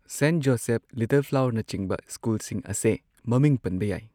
saint Joseph little ꯐ꯭ꯂꯥꯋꯔꯅꯆꯤꯡꯕ ꯁ꯭ꯀꯨꯜꯁꯤꯡ ꯑꯁꯦ ꯃꯃꯤꯡ ꯄꯟꯕ ꯌꯥꯏ